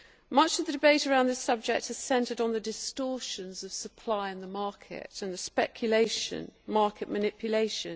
Much of the debate around this subject has centred on the distortions of supply in the market and on speculation market manipulation.